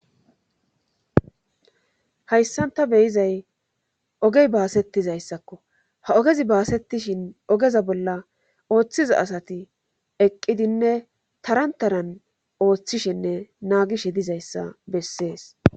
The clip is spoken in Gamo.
Hayssan ta be7izay ogey baasettizayssakko ha ogezi baasettishin ogeza bolla ooththiza asati eqqidinne taran taran ooththishenne naagishe dizayssa bessees.